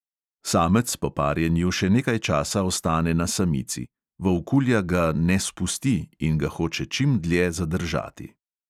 Samec po parjenju še nekaj časa ostane na samici – volkulja ga "ne spusti" in ga hoče čim dlje zadržati.